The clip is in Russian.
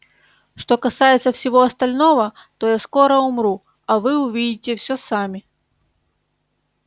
что касается всего остального то я скоро умру а вы увидите все сами